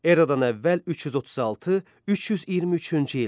Eradan əvvəl 336-323-cü illər.